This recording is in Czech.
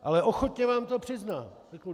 Ale ochotně vám to přiznám.